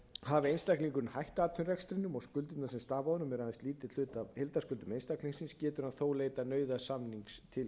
hafi einstaklingurinn hætt atvinnurekstrinum og skuldbindingum sem stafa af honum er aðeins lítill hluti af heildarskuldum einstaklingsins getur hann þó leitað nauðasamnings til